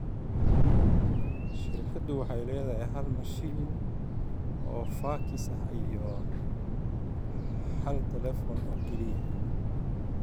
Shirkaddu waxay lahayd hal mashiin oo faakis ah iyo hal telefoon oo keliya.